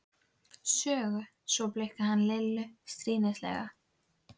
Sögu., svo blikkaði hann Lillu stríðnislega.